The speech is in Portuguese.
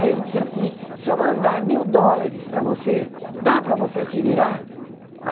Aí ele disse assim, se eu mandar mil dólares para você, dá para você se virar?